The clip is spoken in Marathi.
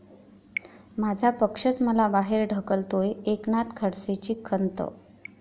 माझा पक्षच मला बाहेर ढकलतोय, एकनाथ खडसेंची खंत